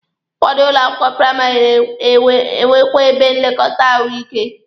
Ụfọdụ ụlọ akwụkwọ praịmarị na-enwekwa ebe nlekọta ahụike.